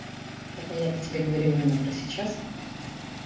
так а я-то тебе говорю именно про сейчас